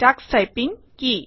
Tux typing কি